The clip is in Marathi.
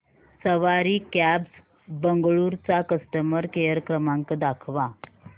सवारी कॅब्झ बंगळुरू चा कस्टमर केअर क्रमांक दाखवा